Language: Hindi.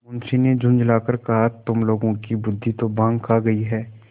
मुंशी ने झुँझला कर कहातुम लोगों की बुद्वि तो भॉँग खा गयी है